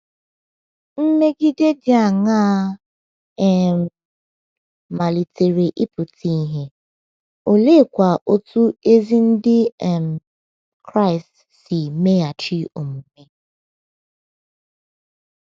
Mmegide dị aṅaa um malitere ịpụta ìhè, oleekwa otú ezi Ndị um Kraịst si meghachi omume?